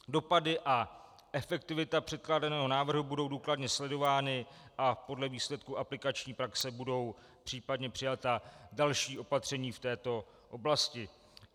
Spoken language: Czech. Dopady a efektivita předkládaného návrhu budou důkladně sledovány a podle výsledků aplikační praxe budou případně přijata další opatření v této oblasti.